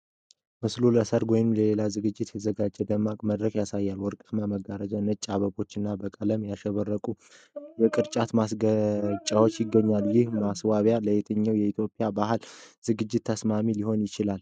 ምስሉ ለሠርግ ወይም ለሌላ ዝግጅት የተዘጋጀ ደማቅ መድረክ ያሳያል። ወርቃማ መጋረጃዎች፣ ነጭ አበቦች እና በቀለማት ያሸበረቁ የቅርጫት ማስጌጫዎች ይገኛሉ። ይህ ማስዋብ ለየትኛው የኢትዮጵያ የባህል ዝግጅት ተስማሚ ሊሆን እንደሚችል ይገምታሉ?